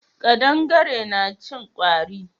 Kaɗangare na cin kwari.